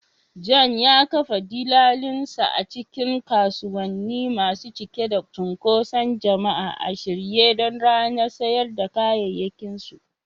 John ya kafa dillalinsa a cikin kasuwanni masu cike da cunkoson jama'a a shirye don ranar sayar da kayayyakinsu.